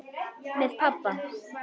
Með pabba.